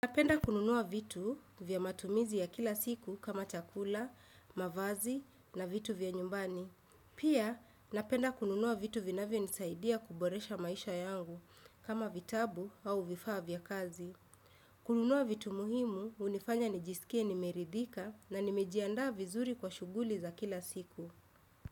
Napenda kununua vitu vya matumizi ya kila siku kama chakula, mavazi na vitu vya nyumbani. Pia, napenda kununua vitu vinavyonisaidia kuboresha maisha yangu kama vitabu au vifaa vya kazi. Kununua vitu muhimu hunifanya nijisikie nimeridhika na nimejiandaa vizuri kwa shuguli za kila siku.